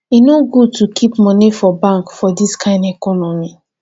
e no good to keep moni for bank for dis kain economy